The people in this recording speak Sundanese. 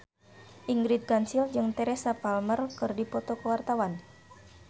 Ingrid Kansil jeung Teresa Palmer keur dipoto ku wartawan